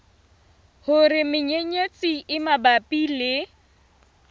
hore menyenyetsi e mabapi le